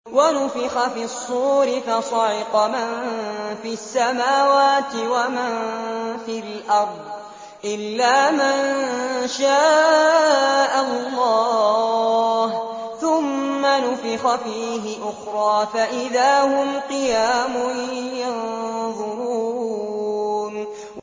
وَنُفِخَ فِي الصُّورِ فَصَعِقَ مَن فِي السَّمَاوَاتِ وَمَن فِي الْأَرْضِ إِلَّا مَن شَاءَ اللَّهُ ۖ ثُمَّ نُفِخَ فِيهِ أُخْرَىٰ فَإِذَا هُمْ قِيَامٌ يَنظُرُونَ